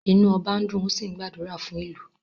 Inu oba n dùn, ó sì ń gbàdúrà fún ìlú